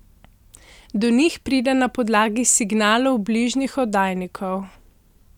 Do njih pride na podlagi signalov bližnjih oddajnikov.